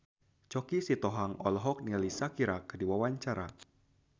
Choky Sitohang olohok ningali Shakira keur diwawancara